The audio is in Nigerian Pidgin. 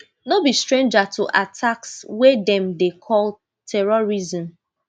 no be stranger to attacks wey dem dey call terrorism